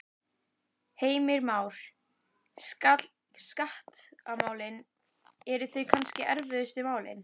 Heimir Már: Skattamálin, eru þau kannski erfiðustu málin?